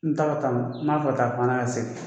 N tam tam nb'a fɛ ka fanga la segin.